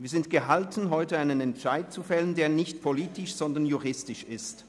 Wir sind gehalten, heute einen Entscheid zu fällen, der nicht politisch, sondern juristisch ist.